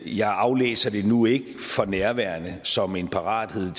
jeg aflæser det nu ikke for nærværende som en parathed